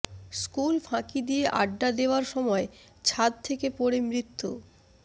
school ফাঁকি দিয়ে আড্ডা দেওয়ার সময় ছাদ থেকে পড়ে মৃত্যু